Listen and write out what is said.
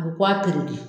A bɛ kɔ a de